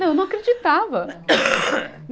Não, eu não acreditava.